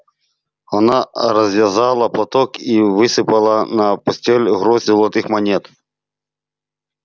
она развязала платок и высыпала на постель горсть золотых монет